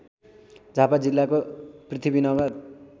झापा जिल्लाको पृथ्वीनगर